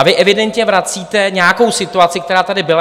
A vy evidentně vracíte nějakou situaci, která tady byla.